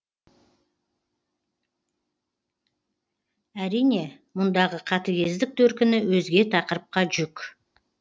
әрине мұндағы қатыгездік төркіні өзге тақырыпқа жүк